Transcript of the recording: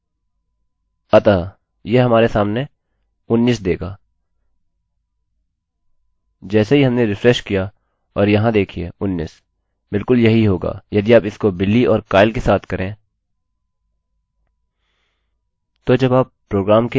अतःयह हमारे सामने उन्नीस देगा जैसे ही हमने रिफ्रेश किया और यहाँ देखिये उन्नीस बिलकुल यही होगा यदि आप इस को billy और kyle के साथ करें